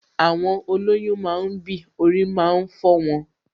Àwọn olọ́yún máa ń bì, orí máa ń fọ wọn